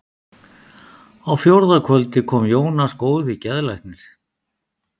Á fjórða kvöldi kom Jónas góði geðlæknir.